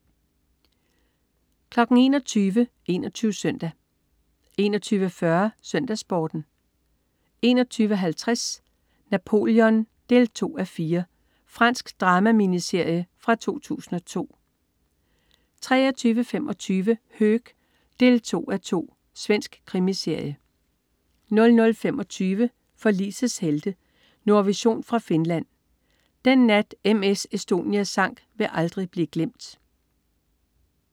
21.00 21 Søndag 21.40 SøndagsSporten 21.50 Napoleon 2:4. Fransk drama-miniserie fra 2002 23.25 Höök 2:12. Svensk krimiserie 00.25 Forlisets helte. Nordvision fra Finland. Den nat M/S Estonia sank, vil aldrig blive glemt